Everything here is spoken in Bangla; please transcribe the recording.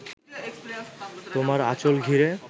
তোমার আঁচল ঘিরে